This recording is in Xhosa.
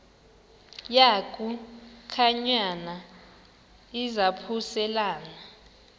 yaku khankanya izaphuselana